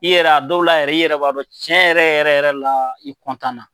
I yɛrɛ a dɔw la yɛrɛ i yɛrɛ b'a dɔn cɛn yɛrɛ yɛrɛ yɛrɛ la i na.